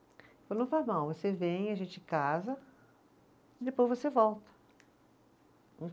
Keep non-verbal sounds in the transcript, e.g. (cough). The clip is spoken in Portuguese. (unintelligible) Não faz mal, você vem, a gente casa, depois você volta.